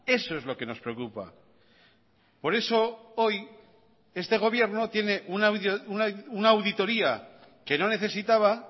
eso es lo que nos preocupa por eso hoy este gobierno tiene una auditoría que no necesitaba